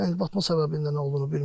Yəni batma səbəbinin nə olduğunu bilmirik.